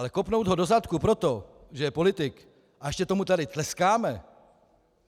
Ale kopnout ho do zadku proto, že je politik, a ještě tady tomu tleskáme...